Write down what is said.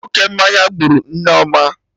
Oke mmanya gburu Nneoma